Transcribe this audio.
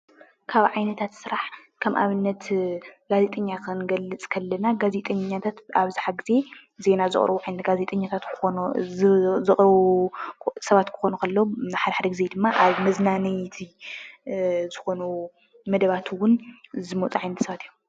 ካብ ዓይነታት ስራሕ ከም ኣብነት ጋዜጠኛ ክንገልፅ ከለና፣ ጋዜጠኛታት ኣብዝሓ ጊዜ ዜና ዘቕርብሉ ዓይነት ጋዜጠኛታት ክኾኑ ዘቕርቡ ሰባት ክኾኑ ከለው፣ ሓደ ሓደ ጊዜ ድማ ኣብ መዝናነይቲ ዝኾኑ መደባት እውን ዝመፁ ዓይነት ሰባት እዮም፡፡